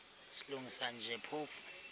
silungisa nje phofu